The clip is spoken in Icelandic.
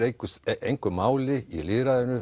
engu máli í lýðræðinu